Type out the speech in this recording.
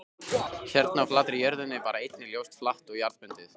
Hérna á flatri jörðinni var einnig ljósið flatt og jarðbundið.